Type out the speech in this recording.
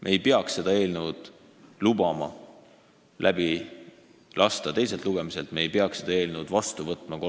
Me ei peaks seda eelnõu teiselt lugemiselt läbi lubama, me ei peaks seda eelnõu kolmandal lugemisel vastu võtma.